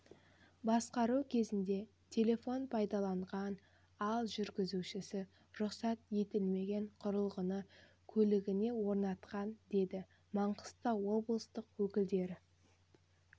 басқару кезінде телефон пайдаланған ал жүргізушісі рұқсат етілмеген құрылғыны көлігіне орнатқан деді маңғыстау облыстық өкілдері